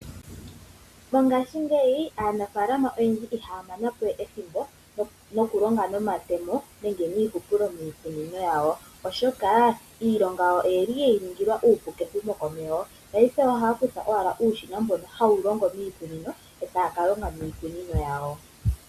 Mongashingeyi aanafaalama oyendji ihaya mana po we ethimbo, noku longa nomatemo nenge niihupulo miikunino yawo. Oshoka iilonga yawo oye li ye yi ningilwa iipu, kehumo komeho. Paife ohaya kutha owala uushina, mbono hawu longo miikunino, etaya ka longa miikunino yawo.